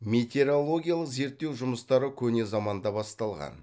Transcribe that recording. метеорологиялық зерттеу жұмыстары көне заманда басталған